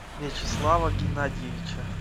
вячеслава геннадьевича